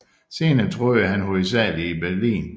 Senere boede han hovedsagelig i Berlin